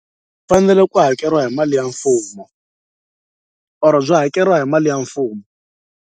Fanele ku hakeriwa hi mali ya mfumo or byi hakeriwa hi mali ya mfumo.